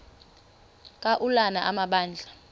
ka ulana amabandla